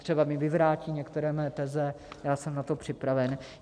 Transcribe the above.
Třeba mi vyvrátí některé mé teze, já jsem na to připraven.